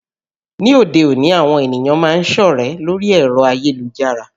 Ní òde òní àwọn ènìyàn máa ń sọ̀rẹ́ lórí ẹ̀rọ ayélujára